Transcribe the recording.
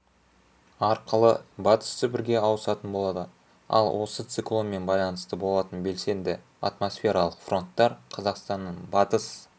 арқылы батыс сібірге ауысатын болады ал осы циклонмен байланысты болатын белсенді атмосфералық фронттар қазақстанның батыс